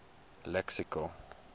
lexical